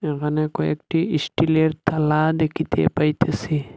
এখানে কয়েকটি ইস্টিলের থালা দেখিতে পাইতেসি।